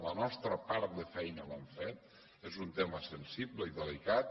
la nostra part de feina l’hem fet és un tema sensible i delicat